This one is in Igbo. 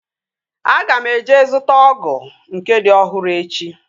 Aga m eje zụta ọgụ nke dị ọhụrụ echi